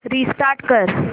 restart कर